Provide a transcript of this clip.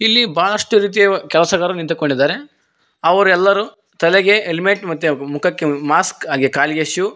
ಇಲ್ಲಿ ಬಹಳಷ್ಟು ರೀತಿಯ ಕೆಲಸಗಾರು ನಿಂತು ಕೊಂಡಿದ್ದಾರೆ ಅವರೆಲ್ಲರೂ ತಲೆಗೆ ಹೆಲ್ಮೆಟ್ ಮತ್ತೆ ಮುಖಕ್ಕೆ ಮಾಸ್ಕ್ ಆಗೇ ಕಾಲಿಗೆ ಶೂ --